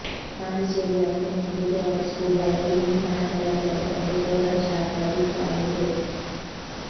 ಪಾಂಡಿಚೇರಿಯ ಅತ್ಯಂತ ಮೃದುವಾದ scuba diving ತಾಣಗಳೆಂದರೆ ಅದು ಕೋರಲ್ ಶಾರ್ಕ ರೀಫ್ ಆಗಿದೆ